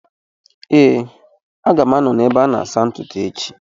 Ee, a ga m anọ n’ebe a na-asa ntutu echi